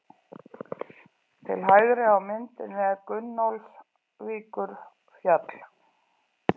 Til hægri á myndinni er Gunnólfsvíkurfjall.